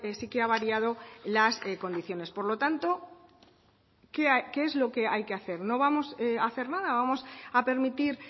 sí que ha variado las condiciones por lo tanto qué es lo que hay que hacer no vamos a hacer nada vamos a permitir